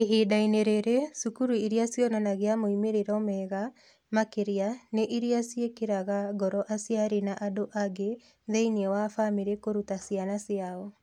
Ihinda-inĩ rĩrĩ, cukuru iria cionanagia moimĩrĩro mega makĩria nĩ iria ciĩkagĩra ngoro aciari na andũ angĩ thĩinĩ wa famĩlĩ kũruta ciana ciao.